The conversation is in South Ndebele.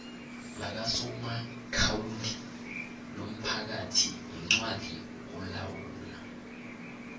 lakasomaakhawundi lomphathiincwadi olawula